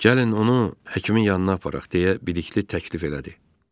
Gəlin onu həkimin yanına aparaq, deyə Bəlikli təklif elədi.